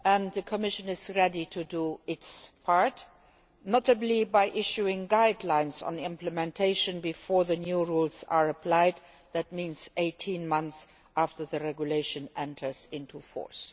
The Commission is ready to do its part, notably by issuing guidelines on implementation before the new rules are applied, which means 18 months after the regulation enters into force.